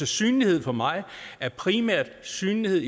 synlighed for mig er primært synlighed